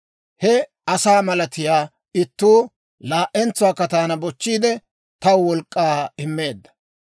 He asaa malatiyaa ittuu laa"entsuwaakka taana bochchiide, taw wolk'k'aa immeedda.